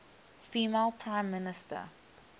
female prime minister